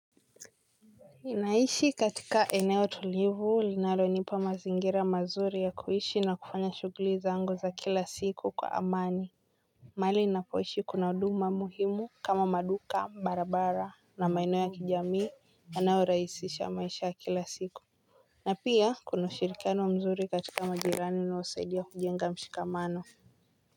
Ninaishi katika eneo tulivu linalo nipa mazingira mazuri ya kuishi na kufanya shughuli zangu za kila siku kwa amani. Mahali ninapoishi kuna huduma muhimu kama maduka barabara na maeneo ya kijamii yanayorahisisha maisha ya kila siku. Na pia kuna ushirikiano mzuri katika majirani na husaidia kujenga mshikamano.